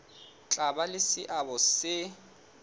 tla ba le seabo se